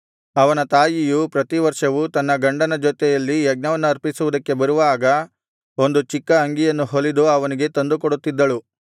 ಅವನ ತಾಯಿಯು ಪ್ರತಿವರ್ಷವೂ ತನ್ನ ಗಂಡನ ಜೊತೆಯಲ್ಲಿ ಯಜ್ಞವನ್ನರ್ಪಿಸುವುದಕ್ಕೆ ಬರುವಾಗ ಒಂದು ಚಿಕ್ಕ ಅಂಗಿಯನ್ನು ಹೊಲಿದು ಅವನಿಗೆ ತಂದುಕೊಡುತ್ತಿದ್ದಳು